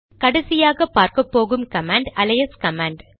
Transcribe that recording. கடைசியாக பார்க்கப்போகும் command alias command